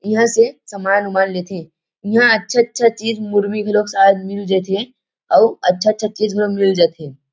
इहाँ से समान- उमान लेथे इहाँ अच्छा -अच्छा चीज़ मुरमी घलोक सायद मिल जाथे अउ अच्छा -अच्छा चीज़ ला मिल जाथे।